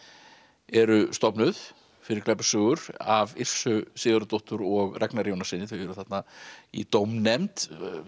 eru stofnuð fyrir glæpasögur af Yrsu Sigurðardóttur og Ragnari Jónassyni þau eru þarna í dómnefnd